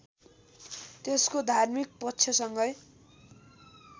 त्यसको धार्मिक पक्षसँगै